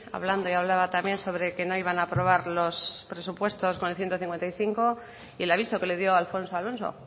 hablando y hablaba también sobre que no iban a aprobar los presupuestos con el ciento cincuenta y cinco y el aviso que le dio a alfonso alonso